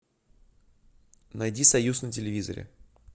найди союз на телевизоре